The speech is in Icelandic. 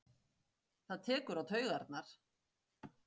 Það tekur á taugarnar.